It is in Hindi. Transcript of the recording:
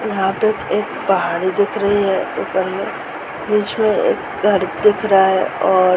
यह पे एक पहाड़ी दिख रही है ऊपर में। बीच में एक घर दिख रहा है और --